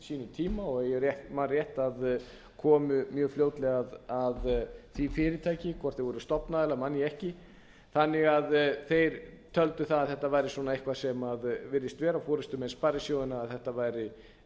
sínum tíma og ef ég man rétt kom mjög fljótlega að því fyrirtæki hvort þeir voru stofnaðilar man ég ekki þannig að þeir töldu að þetta væri eitthvað sem virðist vera forustumenn sparisjóðanna að þetta væri einhvers